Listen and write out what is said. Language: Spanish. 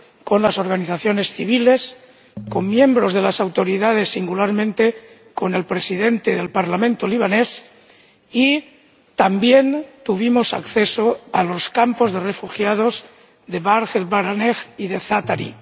con las organizaciones civiles, con miembros de las autoridades —singularmente, con el presidente del Parlamento libanés— y también tuvimos acceso a los campos de refugiados de Burj el Barajneh y de Za'atri.